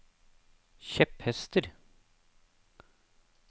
kjepphester